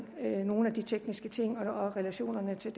nogle af de tekniske ting og om relationerne til